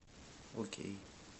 окей